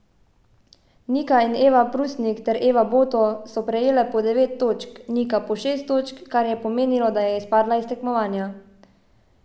Nika in Eva Prusnik ter Eva Boto so prejele po devet točk, Nika pa šest točk, kar je pomenilo, da je izpadla iz tekmovanja.